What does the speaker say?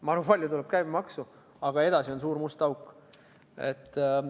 Ma arvan, et käibemaksu tuleb palju, aga edasi on suur must auk.